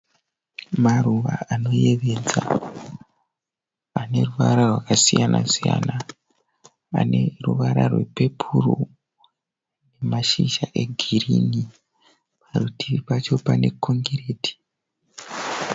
Maruva anoyevedza ane ruvara rwakasiyana siyana. Ane ruvara rwepepuru mashizha egirini. Parutivi pacho pane kongireti.